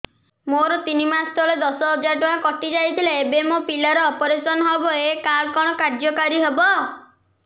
ମୋର ତିନି ମାସ ତଳେ ଦଶ ହଜାର ଟଙ୍କା କଟି ଯାଇଥିଲା ଏବେ ମୋ ପିଲା ର ଅପେରସନ ହବ ଏ କାର୍ଡ କଣ କାର୍ଯ୍ୟ କାରି ହବ